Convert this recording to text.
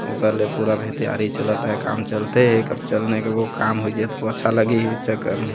ओकर ले पूरा भी तेयारी चलत हे काम चलथे कब चलने के बो काम हुई जई तो अच्छा लगही ई चक्कर में --